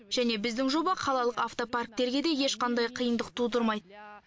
және біздің жоба қалалық автопарктерге де ешқандай қиындық тудырмайды